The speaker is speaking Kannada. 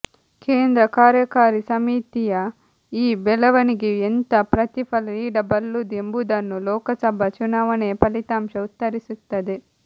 ಕೇಂದ್ರ ಕಾರ್ಯಕಾರಿ ಸಮಿತಿಯ ಈ ಬೆಳವಣಿಗೆಯು ಎಂಥ ಪ್ರತಿಫಲ ನೀಡಬಲ್ಲುದು ಎಂಬುದನ್ನು ಲೋಕಸಭಾ ಚುನಾವಣೆಯ ಫಲಿತಾಂಶ ಉತ್ತರಿಸುತ್ತದೆ